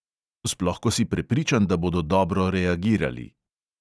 Sploh ko si prepričan, da bodo dobro reagirali.